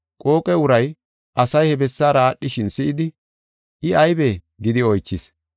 Qooqe uray asay he bessaara aadhishin si7idi, “I aybee?” gidi oychis.